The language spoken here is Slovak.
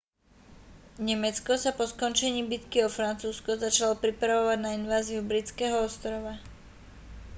nemecko sa po skončení bitky o francúzsko začalo pripravovať na inváziu britského ostrova